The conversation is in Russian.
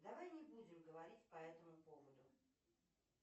давай не будем говорить по этому поводу